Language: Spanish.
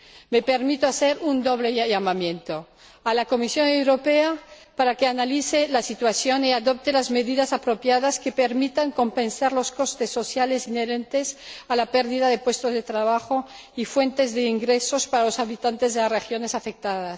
Me permito hacer un doble llamamiento a la Comisión Europea, para que analice la situación y adopte las medidas apropiadas que permitan compensar los costes sociales inherentes a la pérdida de puestos de trabajo y fuentes de ingresos para los habitantes de las regiones afectadas.